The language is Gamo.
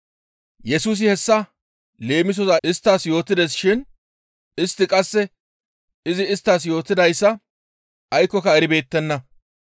Yesusi hessa leemisoza isttas yootides shin istti qasse izi isttas yootidayssa aykkoka eribeettenna.